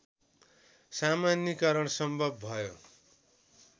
सामान्यिकरण सम्भव भयो